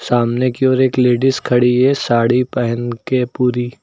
सामने की और एक लेडिस खड़ी है साड़ी पेहन के पुरी।